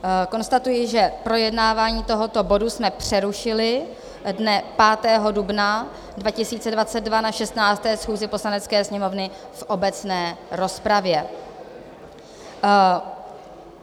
Konstatuji, že projednávání tohoto bodu jsme přerušili dne 5. dubna 2022 na 16. schůzi Poslanecké sněmovny v obecné rozpravě.